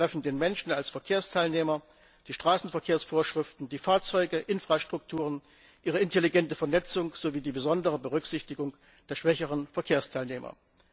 Sie betreffen den Menschen als Verkehrsteilnehmer, die Straßenverkehrsvorschriften, die Fahrzeuge, Infrastrukturen, ihre intelligente Vernetzung sowie die besondere Berücksichtigung der schwächeren Verkehrsteilnehmer.